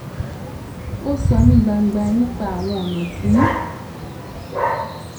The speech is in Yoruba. ó sọ ní gbangba nipa àwọn ọnà tí